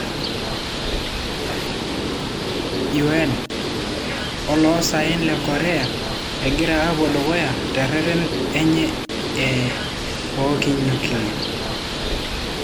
UN; oloosaen le Korea egira apuo dukuya te reten enye o kinyuklia'